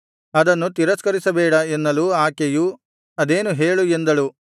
ಅದನ್ನು ತಿರಸ್ಕರಿಸಬೇಡ ಎನ್ನಲು ಆಕೆಯು ಅದೇನು ಹೇಳು ಎಂದಳು